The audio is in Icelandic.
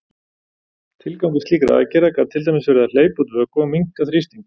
Tilgangur slíkra aðgerða gat til dæmis verið að hleypa út vökva og minnka þrýsting.